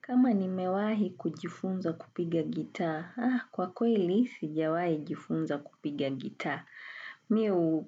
Kama nimewahi kujifunza kupiga gitaa, kwa kweli sijawahi jifunza kupiga gitaa. Mimi